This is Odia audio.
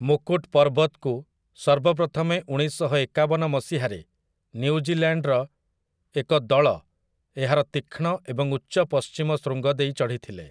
ମୁକୁଟ୍ ପର୍ବତକୁ ସର୍ବପ୍ରଥମେ ଉଣେଇଶଶହଏକାବନ ମସିହାରେ ନ୍ୟୁଜିଲ୍ୟାଣ୍ଡର ଏକ ଦଳ ଏହାର ତୀକ୍ଷ୍ଣ ଏବଂ ଉଚ୍ଚ ପଶ୍ଚିମ ଶୃଙ୍ଗ ଦେଇ ଚଢ଼ିଥିଲେ ।